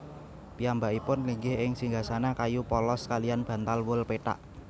Piyambakipun linggih ing singgasana kayu polos kaliyan bantal wol pethak